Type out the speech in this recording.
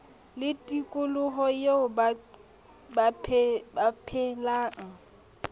le tikoloho eo ba phelang